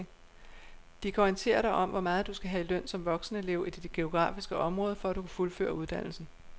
De kan orientere dig om hvor meget du skal have i løn som voksenelev i dit geografiske område, for at du kan fuldføre uddannelsen.